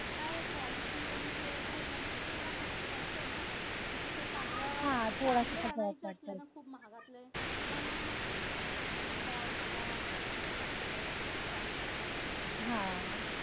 काय quality आणि काय थोडासा ह्यांच्यामध्ये फरक पडतो ना चांगले असो किंवा महागातले तर मग मॉल म्हणा यामध्ये brands आवडतात